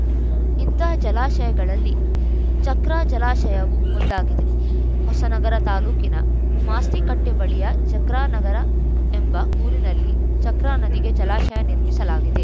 ಇಂತಹ ಜಲಾಶಯಗಳಲ್ಲಿ ಚಕ್ರಾ ಜಲಾಶಯವೂ ಒಂದಾಗಿದೆ ಹೊಸನಗರ ತಾಲೂಕಿನ ಮಾಸ್ತಿಕಟ್ಟೆಬಳಿಯ ಚಕ್ರಾನಗರ ಎಂಬ ಊರಿನಲ್ಲಿ ಚಕ್ರಾ ನದಿಗೆ ಜಲಾಶಯ ನಿರ್ಮಿಸಲಾಗಿದೆ